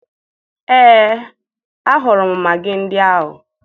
Ee, ahụrụ m magị ndị ahụ